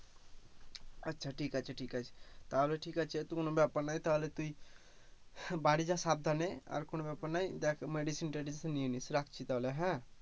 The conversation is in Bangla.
আচ্ছা ঠিক আছে ঠিক আছে, তাহলে ঠিক আছে কোনো ব্যাপার নাই তাহলে তুই বাড়ি যা সাবধানে আর কোন ব্যাপার না, দেখ medicine ট্রেডিশন নিয়ে নিয়েছে রাখছি তাহলে হ্যাঁ,